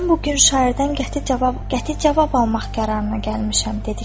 mən bu gün şairdən qəti cavab almaq qərarına gəlmişəm,